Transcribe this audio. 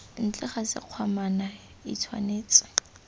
ntle ga sekgwamana i tshwanetse